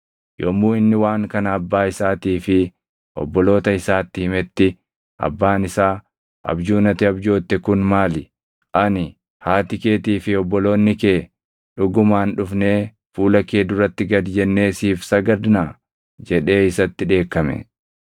Yommuu inni waan kana abbaa isaatii fi obboloota isaatti himetti abbaan isaa, “Abjuun ati abjootte kun maali? Ani, haati keetii fi obboloonni kee dhugumaan dhufnee fuula kee duratti gad jennee siif sagadnaa?” jedhee isatti dheekkame.